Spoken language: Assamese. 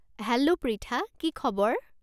হেল্ল' প্ৰিথা। কি খবৰ?